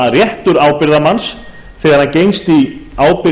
að réttur ábyrgðarmanns þegar hann gengst í ábyrgð